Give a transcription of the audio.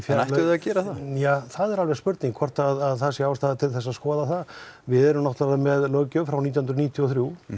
að gera það það er alveg spurning hvort það sé ástæða til að skoða það við erum með löggjöf frá nítján hundruð níutíu og þrjú